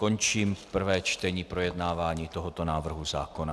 Končím prvé čtení projednávání tohoto návrhu zákona.